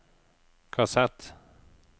kassett